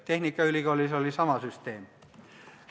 Tehnikaülikoolis oli sama süsteem.